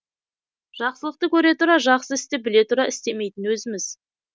жақсылықты көре тұра жақсы істі біле тұра істемейтін өзіміз